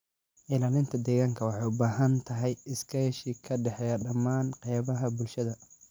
Ilaalinta deegaanka waxay u baahan tahay iskaashi ka dhexeeya dhammaan qaybaha bulshada.